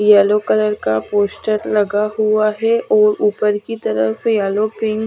yellow colour का poster लगा हुआ है और ऊपर की तरफ येलो पिन --